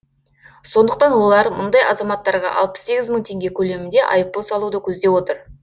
сондықтан олар мұндай азаматтарға алпыс сегіз мың теңге көлемінде айыппұл салуды көздеп отыр